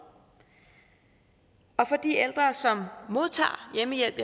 de ældre som modtager hjemmehjælp